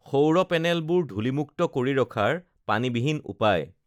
সৌৰ পেনেলবোৰ ধুলি-মুক্ত কৰি ৰখাৰ পানীবিহীন উপায়